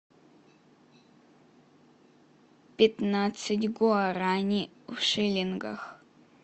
пятнадцать гуарани в шиллингах